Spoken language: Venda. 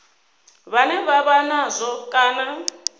vhane vha vha nazwo kana